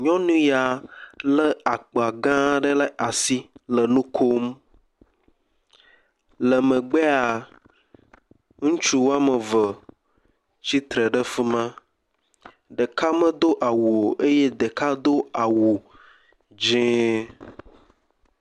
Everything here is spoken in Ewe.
Nyɔnu ya le akpa gã aɖe ɖe asi le nu kom. Le megbea ŋutsu wɔme eve tsitre ɖe fi ma. Ɖeka medo awu o eye ɖeka do awu dzie.